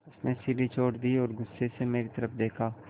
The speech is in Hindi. उसने सीढ़ी छोड़ दी और गुस्से से मेरी तरफ़ देखा